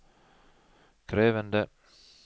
krevende